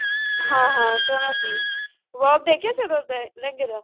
ਹਾਂ ਹਾਂ ਸੋਹਣਾ ਸੀ work ਦੇਖਿਆ ਸੀ ਉਹਦਾ ਦਾ ਲਹਿੰਗੇ ਦਾ